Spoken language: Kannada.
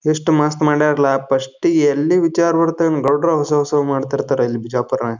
ಎಷ್ಟು ಮಸ್ತ್ ಮಾಡ್ಯಾರಲ್ಲ ಫಸ್ಟ್ ಎಲ್ಲಿ ವಿಚಾರ ಬರ್ತಡ್ ಎಂದ್ ಗೌಡ್ರ ಹೊಸ ಹೊಸಾದ್ ಮಾಡ್ ತಿರತರ ಇಲ್ ಬಿಜಾಪುರ್ನಗ.